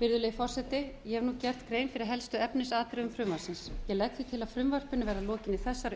virðulegi forseti ég hef gert grein fyrir helstu efnisatriðum frumvarpsins ég legg því til að frumvarpinu verði að lokinni þessari